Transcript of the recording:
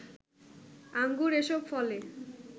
আঙ্গুর এসব ফলে